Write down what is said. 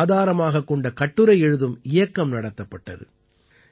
ஆதாரமாகக் கொண்ட கட்டுரை எழுதும் இயக்கம் நடத்தப்பட்டது